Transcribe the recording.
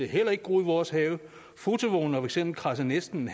heller ikke groet i vores have fotovognene har for eksempel kradset næsten